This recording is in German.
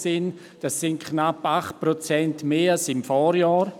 das sind knapp 8 Prozent mehr als im Vorjahr.